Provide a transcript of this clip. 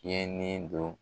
Cɛnnin don